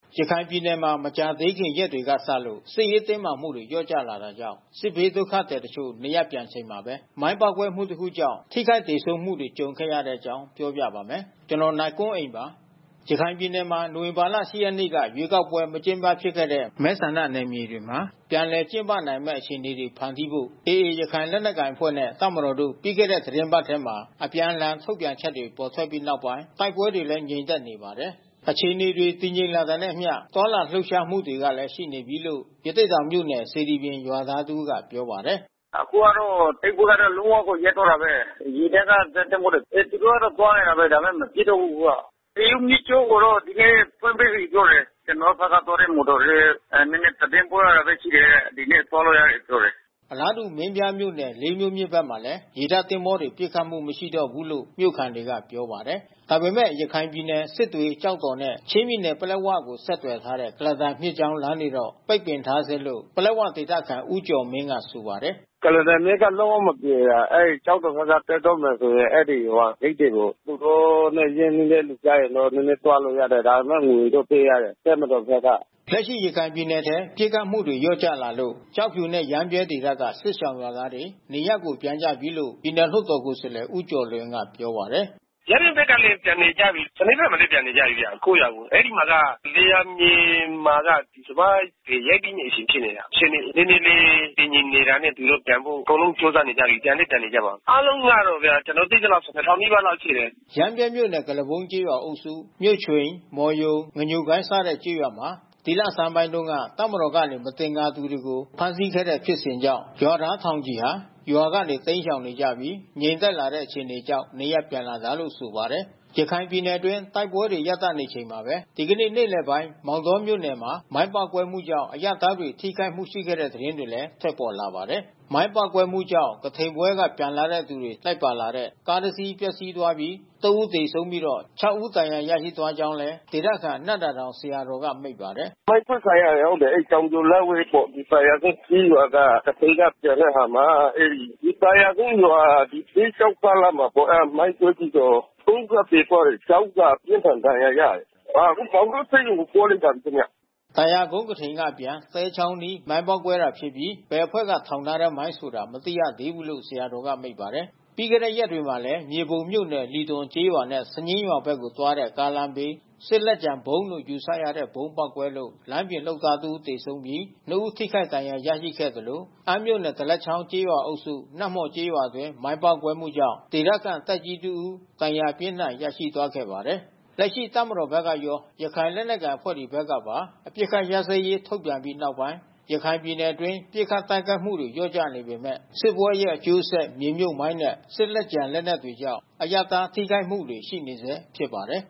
ရခိုင်ပြည်နယ်မှာ မကြာသေးခင်ရက်တွေကစလို့ စစ်ရေးတင်းမာမှုတွေ လျော့ကျလာတာကြောင့် စစ်ဘေးဒုက္ခသည် တချို့ နေရပ်ပြန်နေချိန်မှာပဲ မိုင်းပေါက်ကွဲမှုတခုကြောင့် ထိခိုက်သေဆုံးမှုတွေ ကြုံခဲ့ရတဲ့အကြောင်း နိုင်ကွန်းအိန် ကသတင်းပေးပို့ထားပါတယ်။ ရခိုင်ပြည်နယ်မှာ နိုဝင်ဘာလ ၈ ရက်နေ့က ရွေးကောက်ပွဲ မကျင်းပဖြစ်ခဲ့တဲ့ မဲဆန္ဒနယ်မြေတွေမှာ ပြန်လည်ကျင်းပနိုင်မယ့် အခြေအနေတွေ ဖန်တီးဖို့ AA ရခိုင်လက်နက်ကိုင်အဖွဲ့နဲ့ တပ်မတော်တို့ ပြီးခဲ့တဲ့ သီတင်းပတ်ထဲ အပြန်အလှန် ထုတ်ပြန်ချက်တွေ ထွက်ပေါ်ခဲ့ပြီးနောက် တိုက်ပွဲတွေလည်း ငြိမ်သက်နေပါတယ်။ အခြေအနေတွေ တည်ငြိမ်လာတာနဲ့အမျှ သွားလာလှုပ်ရှားမှုတွေလည်း ရှိနေပြီလို့ ရသေ့တောင်မြို့နယ် စေတီပြင် ရွာသား တဦးကပြောပါတယ်။ “အခုကတော့ တိုက်ပွဲကတော့လုံးဝကိုရပ်သွားတာဘဲ။ ရေတပ်ကဇက်သင်္ဘောတွေ သူတို့ကသွားနေတာဘဲ ဒါပေမဲ့ မပစ်တော့ဘူးအခုက။ မေယုမြစ်ကြောင်းကိုတော့ ဒီနေ့ဖွင့်ပေးလိုက်ပြီးပြောတယ်။ ကျွန်တော်တို့ဖက်ကသွားတဲ့ မော်တော်တွေလဲ နဲနဲသတင်းပို့ရတာဘဲရှိတယ်။ ဒီနေ့သွားလို့ရပြီးလို့ပြောတယ်။” အလားတူမင်းပြားမြို့နယ် လေးမြို့မြစ်ဖက်မှာလဲ ရေတပ်သင်္ဘောတွေပစ်ခတ်မှုမရှိတော့ ဘူးလို့မြို့ခံတွေက ပြောပါ တယ်။ ဒါပေမဲ့ ရခိုင်ပြည်နယ်စစ်တွေ ကျောက်တော်နဲ့ ချင်းပြည်နယ်ပလက်ဝကိုဆက်သွယ်ထားတဲ့ ကုလားတန်မြစ်ကြောင်းလမ်း ကတော့ပိတ်ပင်ထားဆဲလို့ ပလက်ဝဒေသခံ ဦးကျော်မင်းကဆိုပါတယ်။ “ကုလားတန်မြစ်ကလုံးဝမပြေပါ။ ကျောက်တော်ဖက်က တက်တော့မယ်ဆိုရင် အဲဒီဟိုဟာဂိတ်တွေကို သူတို့နဲ့ညှိလို့ ရတဲ့ သူကျရင်တော့ နဲနဲသွားလို့ရတယ်။ ဒါပေမဲ့ငွေတော့ပေးရတယ် တပ်မတော်ဖက်က။” လက်ရှိရခိုင်ပြည်နယ်ထဲ ပစ်ခတ်မှုတွေလျော့ကျလာလို့ ကျောက်ဖြူနဲ့ရမ်းဗြဲဒေသက စစ်ရှောင်ရွာသားတွေ နေရပ်ကို ပြန်ကြပြီးလို့ ပြည်နယ်လွှတ်တော်ကိုယ်စားလှယ်ဦးကျော်လွင်ကပြောပါတယ်။ “ရမ်းဗြဲဖက်လဲပြန်နေကြပြီး။ စနဲဖက်မှာလဲပြန်နေကြပြီးဗျကိုယ့်ရွာကို။ အဲဒီမှာက လယ်ယာမြေမှာက စပါးတွေရိတ်သိမ်း နေချိန်ဖြစ်နေတာ။ အခြေအနေနဲနဲလေးတည်ငြိမ်လာတာနဲ့ သူတို့ပြတန်ဖို့အကုန်လုံးကြိုးစားနေကြပြီး။ ပြန်လဲပြန်နေ ကြပါပြီး။” ရမ်းဗြဲမြို့နယ်၊ ကုလားပုန်းကျေးရွာအုပ်စု၊ ကုလားပုန်း၊ မြို့ချွိန်၊ မော်ရုံ၊ ငညိုကိုင်း စတဲ့ကျေးရွာမှာ ဒီလဆန်းက တပ်မတော်ကနေ မသင်္ကာသူတွေကိုဖမ်းဆီးခဲ့တဲ့ဖြစ်စဉ်ကြောင့် ရွာသားထောင်ချီဟာ ရွာကနေတိမ်းရှောင်နေကြပြီး ငြိမ်သက်လာတဲ့ အခြေအနေကြောင့် နေရပ်ပြန်လာကြတာလို့ဆိုပါတယ်။ ရခိုင်ပြည်နယ်အတွင်း တိုက်ပွဲတွေ ရပ်တန့်နေချိန်မှာပဲ ဒီကနေ့နေ့လယ်ပိုင်းမောင်တောမြို့နယ်မှာ မိုင်းပေါက်ကွဲမှု ကြောင့် အရပ်သားတွေ ထိခိုက်မှုတွေ ရှိခဲ့တဲ့ သတင်းတွေလည်း ထွက်ပေါ်လာပါတယ်။ မိုင်းပေါက်ကွဲမှုကြောင့် ကထိန်ပွဲက ပြန်လာသူတွေလိုက်ပါလာတဲ့ ကားတစ်စီး ပျက်စီးသွားပြီး ၃ ဦး သေဆုံးပြီး ၆ ဦး ဒဏ်ရာရရှိသွားကြောင်းလည်း ဒေသခံ နံ့သာတောင်ဆရာတော်ကမိန့်ပါတယ်။ “မိုင်းခွဲခံရတယ်ဟုတ်တယ်။ အဲဒီတောင်ပြိုလက်ဝဲပေါ့။ သာယာကုန်းကျေးရွာက ကထိန်ကပြန်တဲ့အခါမှာ အဲဒီသာယာကုန်းရွာ သဲချောင်းကားလမ်မှာပေါ့။ အဲတာမိုင်းကွဲပြီးတော့ (၃)ဦးကသေသွားတယ်။ (၆)ဦးကအပြင်းထန်ဒဏ်ရာရတယ်။ အော်အခုမောင်တောဆေးရုံကိုပို့လိုက်တယ်ခင်ဗျ။ ” သာယာကုန်း ကထိန်က အပြန် သဲချောင်းအနီးမိုင်းပေါက်ကွဲတာဖြစ်ပြီး ဘယ်အဖွဲ့ထောင်ထားတဲ့မိုင်းဆိုတာ မသိရသေးဘူးလို့ ဆရာတော်က မိန့်ပါတယ်။ ပြီးခဲ့တဲ့ရက်တွေမှာလဲ မြေပုံမြို့နယ် လီသွန်ကျေးရွာနဲ့ စညင်းရွာဘက်ကိုသွားတဲ့ ကားလမ်းဘေး စစ်လက်ကျန်ဗုံးလို့ ယူဆရတဲ့ ဗုံးပေါက်ကွဲလို့ လမ်းပြင်လုပ်သားတဦးသေဆုံးပြီးနှစ်ဦးထိခိုက်ဒဏ်ရာရရှိခဲ့သလို အမ်းမြို့နယ် ဒလက်ချောင်းကျေးရွာအုပ်စု နတ်မော်ကျေးရွာအတွင်းမိုင်းပေါက်ကွဲမှုုကြောင့် ဒေသခံသက်ကြီးတစ်ဦး ဒဏ်ရာအပြင်းအထန်ရရှိသွားခဲ့ပါတယ်။ လက်ရှိတပ်မတော်ဖက်ကရော ရခိုင်လက်နက်ကိုင်အဖွဲ့ဖက်ကပါ အပစ်ခတ်ရပ်စဲရေးထုတ်ပြန်ပြီးနောက်ပိုင်း ရခိုင်ပြည်နယ်အတွင်းပစ်ခတ်တိုက်ခိုက်မှုတွေလျှော့ကျနေပေမဲ့ စစ်ပွဲရဲ့အကျိုးဆက် မြေမြုတ်မိုင်းနဲ့ စစ်လက်ကျန် လက်နက်တွေကြောင့် အရပ်သား ထိခိုက်မှုတွေရှိနေဆဲဖြစ်ပါတယ်